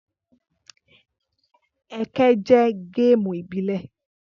Ẹkẹ jẹ́ géèmù ìbílẹ̀